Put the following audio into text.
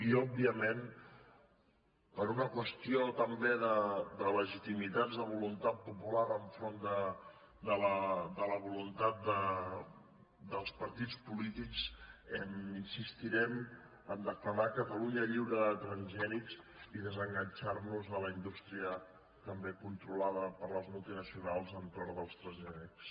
i òbviament per una qüestió també de legitimitats de voluntat popular enfront de la voluntat dels par·tits polítics insistirem a declarar catalunya lliure de transgènics i desenganxar·nos de la indústria també controlada per les multinacionals a l’entorn dels trans·gènics